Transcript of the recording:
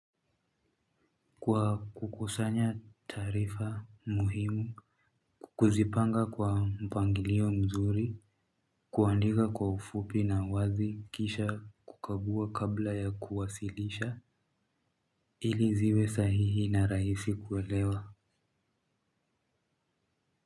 Kwa kukusanya taarifa muhimu ku kuzipanga kwa mpangilio mzuri kuandika kwa ufupi na uwazi kisha kukagua kabla ya kuwasilisha ili ziwe sahihi na rahisi kuelewa.